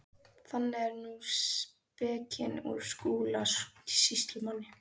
Þannig er nú spekin úr Skúla sýslumanni.